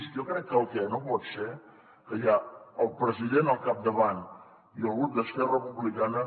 jo crec que el que no pot ser que hi ha el president al capdavant i el grup d’esquerra republicana